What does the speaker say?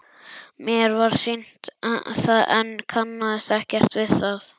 Mér var sýnt það en ég kannaðist ekkert við það.